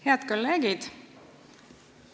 Head kolleegid!